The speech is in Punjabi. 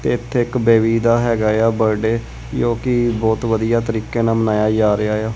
ਇਥੇ ਇੱਕ ਬੇਬੀ ਦਾ ਹੈਗਾ ਆ ਬਰਥਡੇ ਜੋਕੀ ਬਹੁਤ ਵਧੀਆ ਤਰੀਕੇ ਨਾਲ ਮਨਾਇਆ ਜਾ ਰਿਹਾ ਆ।